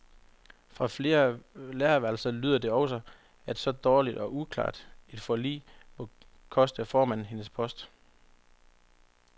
Fra flere lærerværelser lyder det også, at så dårligt og uklart et forlig må koste formanden hendes post.